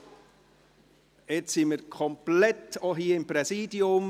Jetzt sind wir komplett, auch hier im Präsidium.